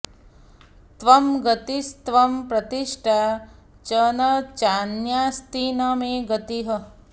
त्वं गतिस्त्वं प्रतिष्ठा च न चान्यास्ति न मे गतिः